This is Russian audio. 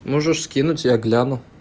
можешь скинуть я гляну